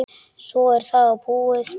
Svo er það búið.